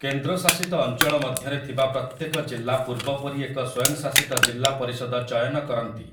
କେନ୍ଦ୍ର ଶାସିତ ଅଞ୍ଚଳ ମଧ୍ୟରେ ଥିବା ପ୍ରତ୍ୟେକ ଜିଲ୍ଲା ପୂର୍ବ ପରି ଏକ ସ୍ୱୟଂଶାସିତ ଜିଲ୍ଲା ପରିଷଦ ଚୟନ କରନ୍ତି ।